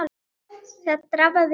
Það drafaði í honum.